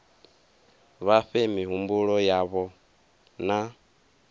vha fhe mihumbulo yavho na